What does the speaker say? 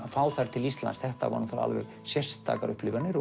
fá þær til Íslands þetta voru sérstakar upplifanir